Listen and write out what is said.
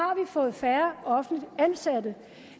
fået færre offentligt ansatte